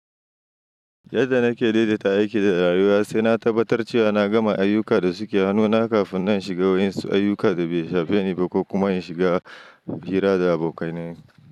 Yadda nake daidaita aiki da rayuwa, sai na tabbatar cewa na gama ayyuka da suke hannuna kafin na shiga wasu ayyuka da bai shafen ni ba ko kuma in shiga hira da abokanai.